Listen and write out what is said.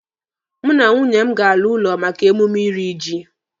Mụ na nwunye m ga-ala ụlọ maka emume iri ji.